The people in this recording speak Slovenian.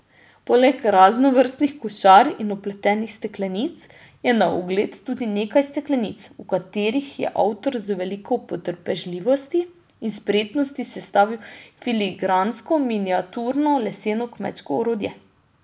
Poleg raznovrstnih košar in opletenih steklenic je na ogled tudi nekaj steklenic, v katerih je avtor z veliko potrpežljivosti in spretnosti sestavil filigransko miniaturno leseno kmečko orodje.